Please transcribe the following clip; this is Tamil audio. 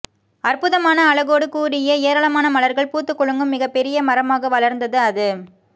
அற்புதமான அழகோடு கூடிய ஏராளமான மலர்கள் பூத்துக் குலுங்கும் மிகப் பெரிய மரமாக வளர்ந்தது அது